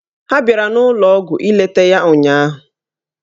Ha bịara n'ụlọọgwụ ileta ya ụnyaahụ.